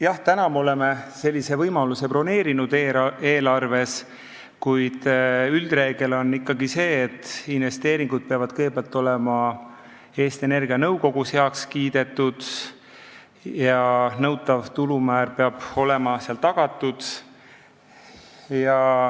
Jah, täna me oleme sellise võimaluse eelarves broneerinud, kuid üldreegel on ikkagi see, et investeeringud peavad kõigepealt olema Eesti Energia nõukogus heaks kiidetud ja nõutav tulumäär peab olema tagatud.